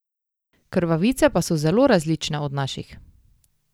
Krvavice pa so zelo različne od naših.